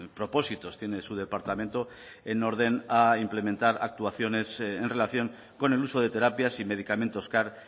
propósitos tiene su departamento en orden a implementar actuaciones en relación con el uso de terapias y medicamentos car